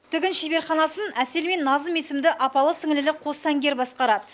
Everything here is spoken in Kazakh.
тігін шеберханасын әсел мен назым есімді апалы сіңлілі қос сәнгер басқарады